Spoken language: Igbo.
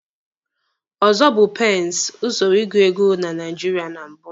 Ọzọ bụ pensi, usoro ịgụ ego na Naijiria na mbụ.